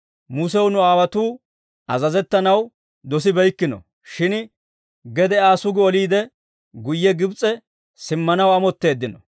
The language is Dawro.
«Musew nu aawotuu azazettanaw dosibeykkino; shin gede Aa sugi oliide, guyye Gibs'e simmanaw amotteeddino.